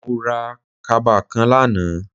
Mo ra kaba kan lánàá